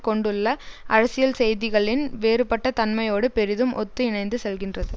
கொண்டுள்ள அரசியல் செய்திகளின் வேறுபட்ட தன்மையோடு பெரிதும் ஒத்து இணைந்து செல்கின்றது